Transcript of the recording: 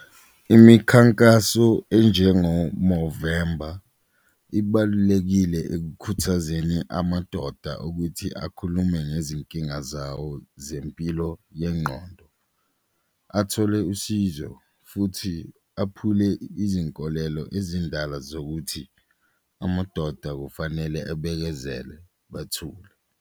Imikhankaso enjengo-Movember ibalulekile ekukhuthazeni amadoda ukuthi akhulume ngezinkinga zawo zempilo yenqondo, athole usizo futhi aphule izinkolelo ezindala zokuthi amadoda kufanele abekezele bathule.